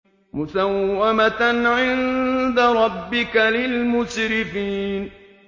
مُّسَوَّمَةً عِندَ رَبِّكَ لِلْمُسْرِفِينَ